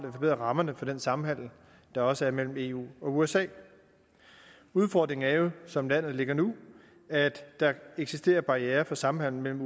vi forbedrer rammerne for den samhandel der også er mellem eu og usa udfordringen er jo som landet ligger nu at der eksisterer barrierer for samhandelen